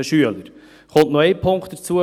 Es kommt noch ein Punkt dazu.